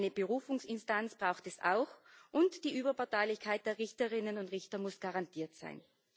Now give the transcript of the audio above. Eine Berufungsinstanz braucht es auch, und die Überparteilichkeit der Richterinnen und Richter muss garantiert sein.